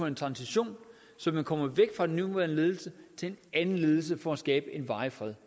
en transition så man kommer væk fra den nuværende ledelse til en anden ledelse for at skabe en varig fred